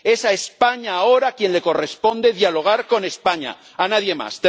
Es España ahora a quien le corresponde dialogar con España, a nadie más.